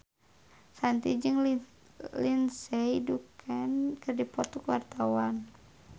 Shanti jeung Lindsay Ducan keur dipoto ku wartawan